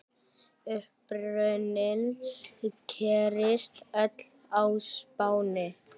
Uppruni gerist öll á Spáni.